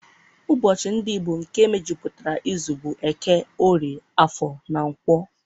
Ụbọchị ndị Igbo nke mejupụtara izu bụ Eke, Orie, Afọ na Nkwọ